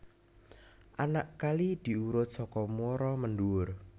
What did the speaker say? Anak kali diurut saka muara mendhuwur